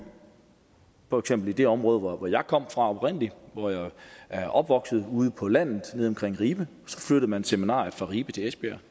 for eksempel i det område hvor jeg kom fra oprindelig hvor jeg er opvokset ude på landet nede omkring ribe så flyttede man seminariet fra ribe til esbjerg